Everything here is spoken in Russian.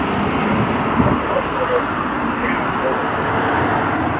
форс мажоры серия сорок